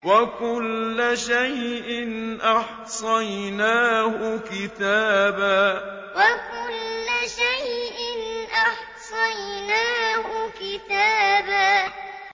وَكُلَّ شَيْءٍ أَحْصَيْنَاهُ كِتَابًا وَكُلَّ شَيْءٍ أَحْصَيْنَاهُ كِتَابًا